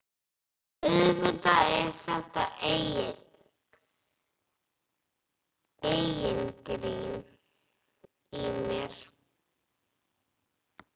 Auðvitað er þetta eigingirni í mér.